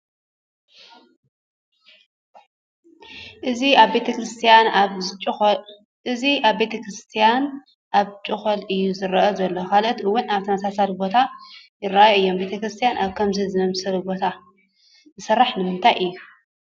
እዚ ኣብ ቤተ ክርስቲያን ኣብ ጩኾል እዩ ዝርአ ዘሎ፡፡ ካልኦት እውን ኣብ ተመሳሳሊ ቦታ ይርአዩ እዮም፡፡ ቤተ ክርስቲያን ኣብ ከምዚ ዝኣምሰለ ቦታ ዝስራሕ ንምንታይ እዩ?